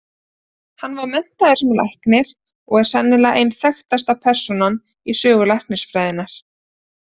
Hann var menntaður sem læknir og er sennilega ein þekktasta persónan í sögu læknisfræðinnar.